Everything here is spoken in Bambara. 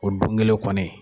O don kelen kɔni